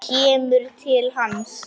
Kemur til hans.